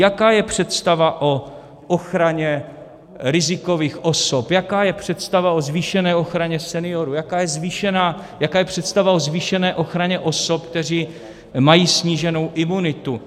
Jaká je představa o ochraně rizikových osob, jaká je představa o zvýšené ochraně seniorů, jaká je představa o zvýšené ochraně osob, které mají sníženou imunitu?